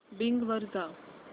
Bing वर जा